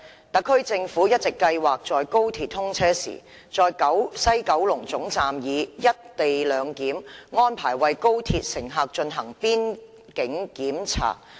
特區政府一直計劃在高鐵通車時，在西九龍總站以"一地兩檢"安排為高鐵乘客進行邊境檢查。